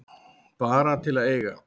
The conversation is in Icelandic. Bara til að eiga.